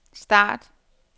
start